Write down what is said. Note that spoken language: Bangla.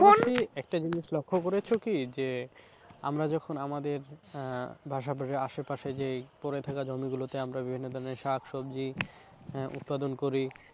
একটা জিনিস লক্ষ্য করেছো কি? যে আমরা যখন আমাদের আহ পাশাপাশি আশেপাশে যে পরে থাকা জমি গুলোতে আমরা বিভিন্ন ধরণের শাক সবজি আহ উৎপাদন করি।